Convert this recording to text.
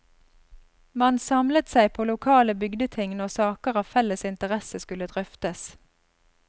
Man samlet seg på lokale bygdeting når saker av felles interesse skulle drøftes.